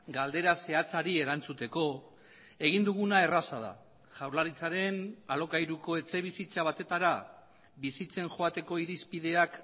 galdera zehatzari erantzuteko egin duguna erraza da jaurlaritzaren alokairuko etxebizitza batetara bizitzen joateko irizpideak